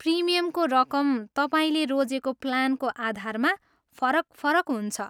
प्रिमियमको रकम तपाईँले रोजेको प्लानको आधारमा फरक फरक हुन्छ।